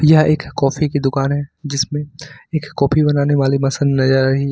यह एक कॉफी की दुकान है जिसमें एक कॉफी बनाने वाली मशीन नजर आ रही है।